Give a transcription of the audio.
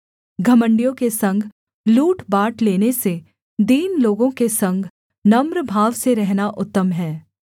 घमण्डियों के संग लूट बाँट लेने से दीन लोगों के संग नम्र भाव से रहना उत्तम है